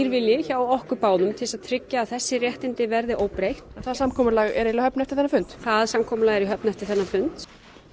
vilji hjá okkur báðum til þess að tryggja að þessi réttindi verði óbreytt það samkomulag er í höfn eftir þennan fund það samkomulag er í höfn eftir þennan fund